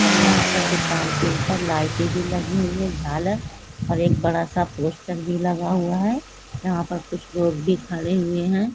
और यहाँ दुकान के ऊपर लइते भी लगी हुई है झालर एक बड़ा सा पोस्टर भी लगा हुआ है यहाँ पर कुछ लोग भी खड़े हुए है।